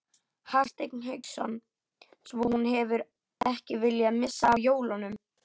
Hafsteinn Hauksson: Svo hún hefur ekki viljað missa af jólunum?